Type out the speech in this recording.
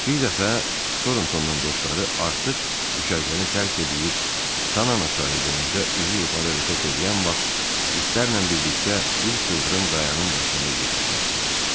Bir dəfə Torntondan dostları artıq düşərgəni tərk eləyib Tanana çayı boyunca üzü yuxarı hərəkət eləyən vaxt itlərlə birlikdə bir sıldırım qayayanın başında yerləşmişdilər.